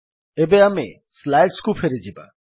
ଏବେ ଆମେ ସ୍ଲାଇଡ୍ସ କୁ ଫେରିଯିବା